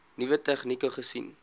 nuwe tegnieke gesien